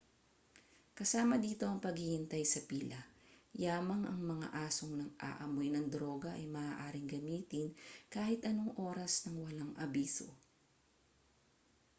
kasama dito ang paghihintay sa pila yamang ang mga asong nang-aamoy ng droga ay maaaring gamitin kahit anong oras nang walang abiso